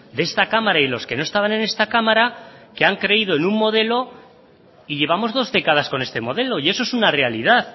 de esta cámara y los que no estaban en esta cámara que han creído en un modelo y llevamos dos décadas con este modelo y eso es una realidad